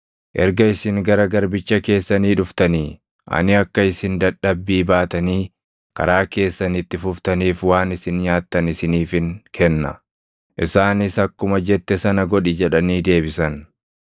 Erga isin gara garbicha keessanii dhuftanii, ani akka isin dadhabbii baatanii karaa keessan itti fuftaniif waan isin nyaattan isiniifin kenna.” Isaanis, “Akkuma jette sana godhi” jedhanii deebisan.